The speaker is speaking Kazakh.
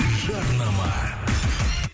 жарнама